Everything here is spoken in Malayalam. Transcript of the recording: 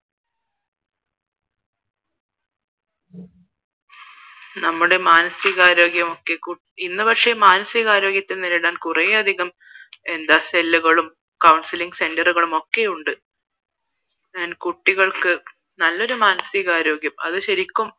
നമ്മടെ മാനസികാരോഗ്യമൊക്കെ ഇന്ന് പക്ഷേ മാനസികാരോഗ്യത്തെ നേരിടാൻ കുറെയധികം എന്താണ് cell കളും counseling center കളുമൊക്കെയുണ്ട് കുട്ടികൾക്ക് നല്ലൊരു മാനസികാരോഗ്യം അത് ശരിക്കും